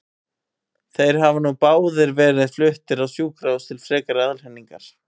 Þeir hafa nú báðir verið fluttir á sjúkrahús til frekari aðhlynningar.